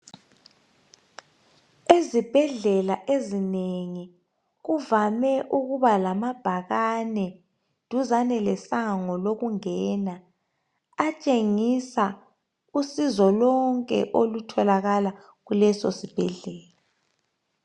Ezibhedlela ezinengi, kuvame ukuba lamabhakane duzane lesango lokungena atshengisa usizo lonke olutholakala kulesosibhedlela